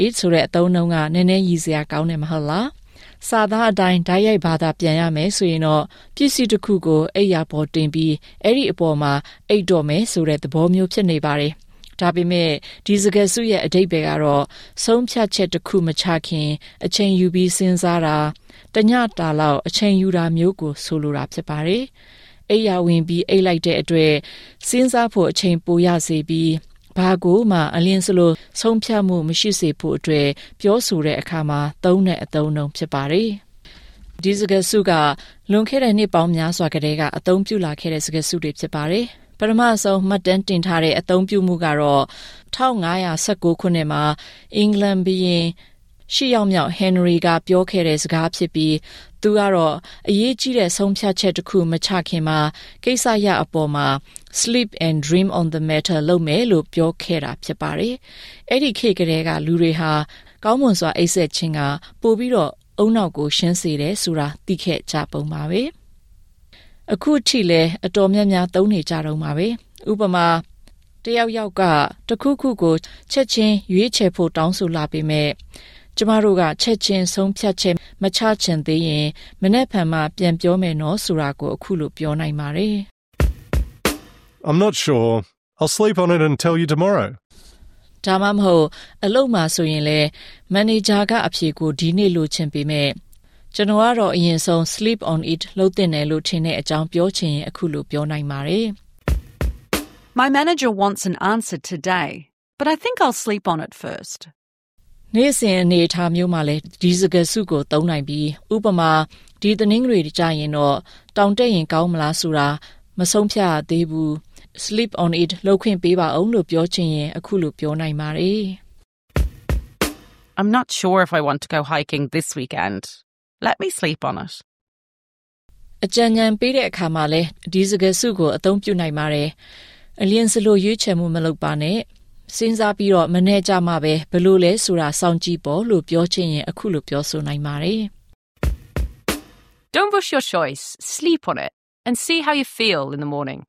it — ဆိုတဲ့ အသုံးအနှုန်းက နည်းနည်းရယ်စရာကောင်းတယ် မဟုတ်လား? စာသားအတိုင်း တိုက်ရိုက်ဘာသာပြန်ဆိုရင် ပစ္စည်းတစ်ခုကို အိပ်ယာပေါ် တင်ပြီး အဲဒီအပေါ်မှာ အိပ်တော့မယ်ဆိုတဲ့ သဘောမျိုး ဖြစ်နေတယ်။ ဒါပေမဲ့ ဒီစကားစုရဲ့ အဓိပ္ပာယ်ကတော့ ဆုံးဖြတ်ချက်တစ်ခု မချခင် အချိန်ယူစဉ်းစားတာ၊ တစ်ညတာလောက် အချိန်ယူတာမျိုးကို ဆိုလိုပါတယ်။ အိပ်ယာဝင်ပြီး အိပ်လိုက်တဲ့အတွက် စဉ်းစားဖို့ အချိန်ပိုရစေပြီး ဘာကိုမှ အလျင်စလို ဆုံးဖြတ်ခြင်း မရှိစေဖို့အတွက် ပြောဆိုတဲ့အခါမှာ သုံးတဲ့ အသုံးအနှန်း ဖြစ်ပါတယ်။ ဒီစကားစုက လွန်ခဲ့တဲ့ နှစ်ပေါင်းများစွာ ကတည်းက အသုံးပြုလာခဲ့တာ ဖြစ်ပါတယ်။ ပထမဆုံး မှတ်တမ်းတင်ထားတဲ့ အသုံးပြုမှုကတော့ ၁၅၁၉ ခုနှစ်မှာ အင်္ဂလန်ဘုရင် ဟင်နရီ VIII က ပြောခဲ့တဲ့ စကားဖြစ်ပြီး သူက အရေးကြီးတဲ့ ဆုံးဖြတ်ချက်တစ်ခု မချခင်မှာ ကိစ္စရပ်အပေါ် “sleep and dream on the matter” လုပ်မယ်လို့ ပြောခဲ့တာ ဖြစ်ပါတယ်။ အဲဒီခေတ်ကတည်းက လူတွေဟာ ကောင်းမွန်စွာ အိပ်စက်ခြင်းက ပိုပြီး ဦးနှောက် ရှင်းစေတယ်ဆိုတာ သိခဲ့ကြပုံပါပဲ။ ကျွန်မတို့ဟာ ‘to sleep on it’ ကို အခုထိ တော်တော်များများ သုံးနေကြတုန်းပါ။ ဥပမာ၊ တစ်ယောက်ယောက်က တစ်ခုခုကို ချက်ချင်းရွေးဖို့ တောင်းဆိုလာပေမယ့် ကျမတို့က ချက်ခြင်း ဆုံးဖြတ်ချက် မချချင်သေးရင် မနက်ဖြန်မှ ပြန်ပြောမယ်နော် ဆိုတာကို အခုလို ပြောနိုင်ပါတယ်။ - I’m not sure. I’ll sleep on it and tell you tomorrow. ဒါမှမဟုတ် အလုပ်မှာဆိုရင်- မန်နေဂျာက အဖြေကို ဒီနေ့ လိုချင်ပေမယ့် ကျနော်ကတော့ အရင်ဆုံး sleep on it လုပ်သင့်တယ်လို့ ထင်တဲ့အကြောင်း ပြောချင်ရင် အခုလို ပြောနိုင်ပါတယ်။ - My manager wants an answer today, but I think I’ll sleep on it first. နေ့စဉ်အနေအထားမျိုးမှာလည်း ဒီစကားစုကို သုံးနိုင်ပြီး ဥပမာ ဒီတနင်္ဂနွေ ကြရင် တောင်တက်ရင် ကောင်းမလား ဆိုတာ မသေချာသေးဘူး။ ကျမကို sleep on it လုပ်ခွင့်ပေးပါဦး လို့ ပြောချင်ရင် အခုလို ပြောနိုင်ပါတယ်။ - I’m not sure if I want to go hiking this weekend. Let me sleep on it. အကြံဉာဏ်ပေးတဲ့အခါမှာလည်း ဒီစကားစုကို သုံးနိုင်ပါတယ်။ အလျင်စလို ရွေးချယ်မှု မလုပ်ပါနဲ့၊ စဥ်းစားပြီး မနက်ကြမှ ဘယ်လိုလည်းဆိုတာ စောင့်ကြည့်ပေါ့လို့ ပြောချင်ရင် အခုလို ပြောနိုင်ပါတယ်။ - Don’t rush your choice — sleep on it and see how you feel in the morning.